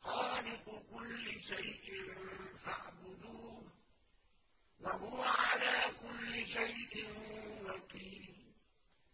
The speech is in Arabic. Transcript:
خَالِقُ كُلِّ شَيْءٍ فَاعْبُدُوهُ ۚ وَهُوَ عَلَىٰ كُلِّ شَيْءٍ وَكِيلٌ